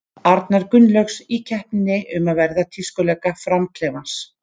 Arnar Gunnlaugs, í keppninni um að vera tískulögga Fram-klefans.